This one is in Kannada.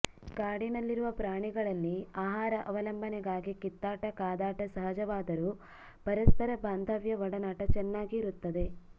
ಕಾಡಿನಲ್ಲಿರುವ ಪ್ರಾಣಿಗಳಲ್ಲಿ ಆಹಾರ ಅವಲಂಬನೆಗಾಗಿ ಕಿತ್ತಾಟ ಕಾದಾಟ ಸಹಜವಾದರೂ ಪರಸ್ಪರ ಬಾಂಧವ್ಯ ಒಡನಾಟ ಚೆನ್ನಾಗಿ ಇರುತ್ತದೆ